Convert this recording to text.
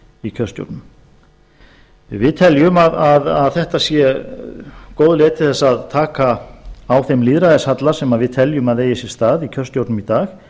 í kjörstjórnum við teljum að þetta sé góð leið til þess að taka á þeim lýðræðishalla sem við teljum að eigi sér stað í kjörstjórnum í dag